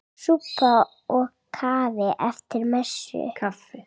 Súpa og kaffi eftir messu.